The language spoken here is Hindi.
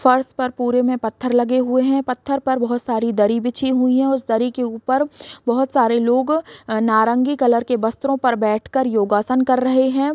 फर्श पर पुरे में पत्थर लगे हुए हैं पत्थर पर बहुत सारी दरी बिछी हुई हैं उस दरी के उपर बहुत सारे लोग नारंगी कलर के वस्त्रों पर बैठकर योगासन कर रहें हैं।